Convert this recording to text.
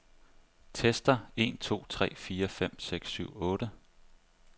Tester en to tre fire fem seks syv otte.